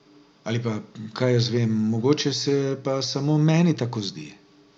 Ali pa, kaj jaz vem, mogoče se pa samo meni tako zdi.